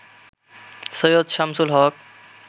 Syed Shamsul Haque